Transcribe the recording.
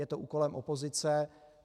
Je to úkolem opozice.